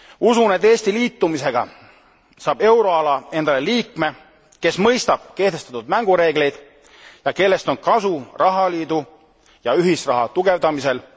Usun, et Eesti liitumisega saab euroala endale liikme, kes mõistab kehtestatud mängureegleid ja kellest on kasu rahaliidu ja ühisraha tugevdamisel.